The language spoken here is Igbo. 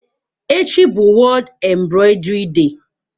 Echi bụ World Embroidery Day.